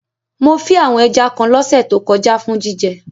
Mo fí àwon ẹja kan lọ́sẹ̀ to kojá for jíjẹ